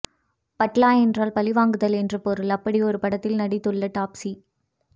பட்லா என்றால் பழிவாங்குதல் என்று பொருள் அப்படியொரு படத்தில் நடித்துள்ள டாப்ஸி